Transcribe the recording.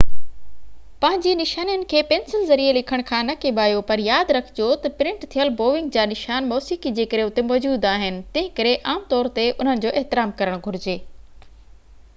پنهنجي نشانين کي پينسل ذريعي لکڻ کان نه ڪيٻايو پر ياد رکجو ته پرنٽ ٿيل بوونگ جا نشان موسيقي جي ڪري اتي موجود آهن تنهن ڪري عام طور تي انهن جو احترام ڪرڻ گهرجي